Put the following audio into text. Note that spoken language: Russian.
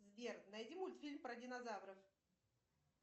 сбер найди мультфильм про динозавров